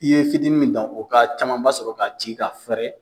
I ye fitiini min dan ,o ka camanba sɔrɔ k'a ci ka fɛɛrɛ.